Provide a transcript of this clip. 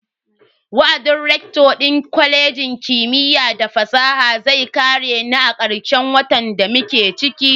Wa'adin rector din kwalejin kimiyya da fasaha zai kare ne karshen watan da muke ciki.